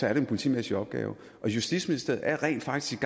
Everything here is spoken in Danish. er det en politimæssig opgave og justitsministeriet er rent faktisk